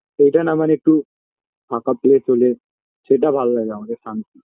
সেইটা না মানে একটু ফাঁকা place হলে সেটা ভালো লাগে আমাদের শান্তি